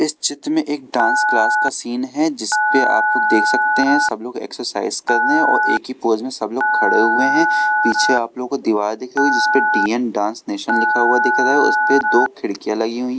इस चित्र में एक डांस क्लास का सीन है जिस पे आप लोग देख सकते हैं सब लोग एक्सरसाइज करने और एक ही पोज में सब लोग खड़े हुए हैं पीछे आप लोगों को दीवार दिख रहा है जिस पे डी एन डांस नेशन लिखा हुआ दिख रहा है उसे पे दो खिड़कियां लगी हुई है।